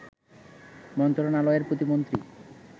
মন্ত্রণালয়ের প্রতিমন্ত্রী